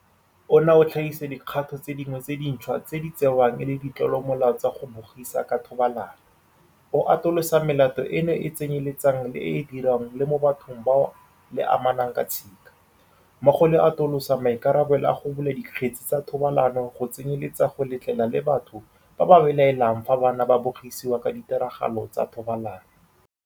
Ona o tlhagisa dikgato tse dingwe tse dintšhwa tse di tsewang e le ditlolomolao tsa go bogisa ka thobalano, o atolosa melato eno go tsenyeletsa le e e diriwang le mo bathong bao le amanang ka tshika, mmogo le go atolosa maikarabelo a go bula dikgetse tsa thobalano go tsenyeletsa go letlelela le batho ba ba belaelang fa bana ba bogisiwa ka ditiragalo tsa thobalano.